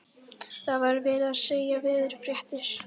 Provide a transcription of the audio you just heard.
Það var verið að segja veðurfréttir.